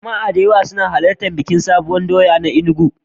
Jama'a da dama suna halartan bikin Sabuwar doya a Enugu.